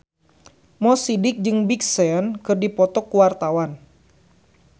Mo Sidik jeung Big Sean keur dipoto ku wartawan